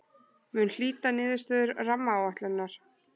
Mun hlýta niðurstöðu rammaáætlunar